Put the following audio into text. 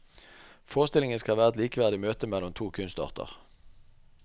Forestillingen skal være et likeverdig møte mellom to kunstarter.